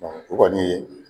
o kɔni ye